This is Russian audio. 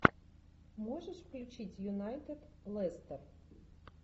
можешь включить юнайтед лестер